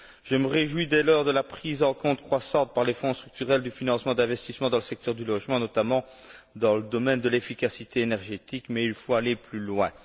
Je me réjouis dès lors de la prise en compte croissante, par les Fonds structurels, du financement d'investissements dans le secteur du logement, notamment dans le domaine de l'efficacité énergétique, mais il faut aller plus loin.